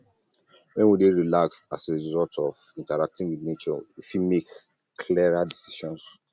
when we dey relaxed as a result of interacting with nature we fit make clearer decisions